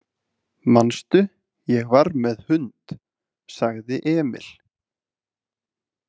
Manstu, ég var með hund, sagði Emil.